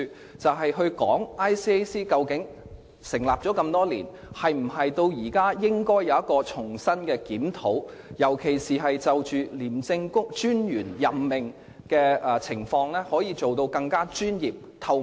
該條例草案是討論 ICAC 在成立多年後，應否重新進行檢討，特別是在任命廉政專員方面，能否做得更加專業和透明。